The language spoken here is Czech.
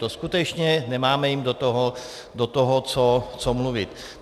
To skutečně nemáme jim do toho co mluvit.